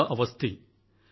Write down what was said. Ananya Awasthi